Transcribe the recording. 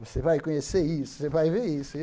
Você vai conhecer isso, você vai ver isso.